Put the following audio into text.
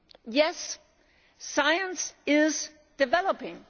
Yes, science is developing.